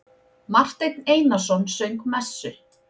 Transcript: Marteinn Einarsson söng messu.